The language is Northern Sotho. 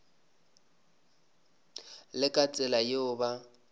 le ka tsela yeo ba